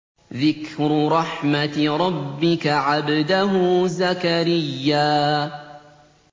ذِكْرُ رَحْمَتِ رَبِّكَ عَبْدَهُ زَكَرِيَّا